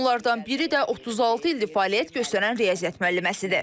Onlardan biri də 36 ildir fəaliyyət göstərən riyaziyyat müəlliməsidir.